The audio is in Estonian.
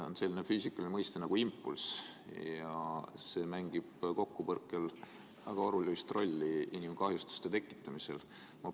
On selline füüsikaline mõiste nagu impulss ja see mängib kokkupõrke korral inimesele kahjustuste tekitamisel väga olulist rolli.